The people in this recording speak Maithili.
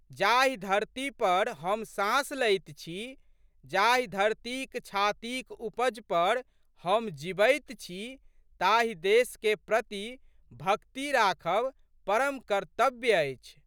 जाहि धरती पर हम साँस लैत छी, जाहि धरतीक छातीक उपज पर हम जीबैत छी ताहि देशके प्रति भक्ति राखब परम कर्त्तन्य अछि।